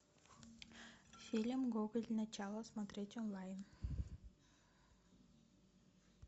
фильм гоголь начало смотреть онлайн